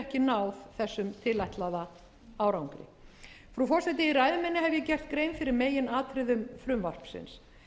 ekki náð þessum tilætlaða árangri frú forseti í ræðu minni hef ég gert grein fyrir meginatriðum frumvarpsins